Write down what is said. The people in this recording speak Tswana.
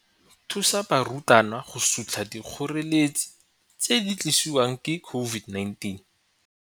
Thusa barutwana go sutlha dikgoreletsi tse di tlisiwang ke COVID-19.